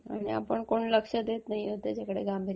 आणि आपण कोण लक्ष देत नाही आहोत गांभीर्याने.